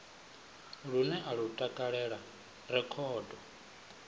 lune a lu takalela rekhodo